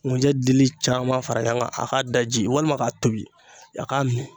Ŋunjɛ dili caman fara ɲɔgɔn kan a k'a daji walima k'a tobi a k'a min